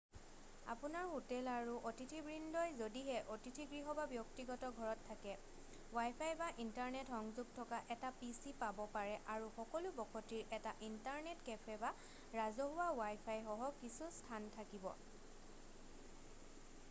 আপোনাৰ হোটেল আৰু অতিথিবৃন্দই যদিহে অতিথিগৃহ বা ব্যক্তিগত ঘৰত থাকে ৱাইফাই বা ইন্টাৰনেট সংযোগ থকা এটা পি.চি পাব পাৰে আৰু সকলো বসতিৰ এটা ইন্টাৰনেট কেফে বা ৰাজহুৱা ৱাইফাই সহ কিছু স্থান থাকিব।